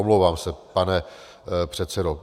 Omlouvám se, pane předsedo.